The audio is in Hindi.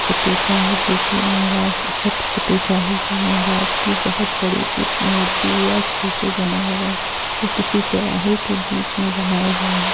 पति- श्याम जी की महाराज छत्रपति साहू जी महाराज की बहुत बड़ी सी मूर्ति या स्टैचू बना हआ है | यह किसी चोराहे के बीच में बना हुआ है।